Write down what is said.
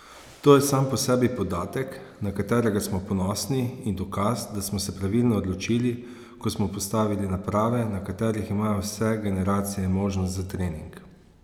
To je sam po sebi podatek, na katerega smo ponosni in dokaz da smo se pravilno odločili, ko smo postavili naprave, na katerih imajo vse generacije možnost za trening.